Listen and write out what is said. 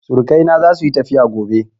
Surukai na za su yi tafiya gobe